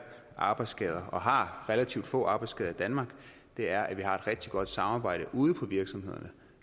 arbejdsskader og har relativt få arbejdsskader i danmark er at vi har et rigtig godt samarbejde ude på virksomhederne